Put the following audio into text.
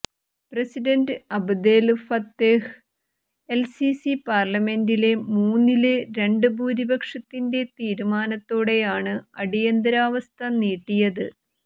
president Abdel Fattah el Sisi പാര്ലമെന്റിലെ മൂന്നില് രണ്ട് ഭൂരിപക്ഷത്തിന്റെ തീരുമാനത്തോടെയാണ് അടിയന്തരാവസ്ഥ നീട്ടിയത്